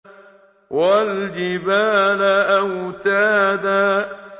وَالْجِبَالَ أَوْتَادًا